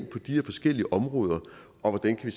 på de her forskellige områder og hvordan vi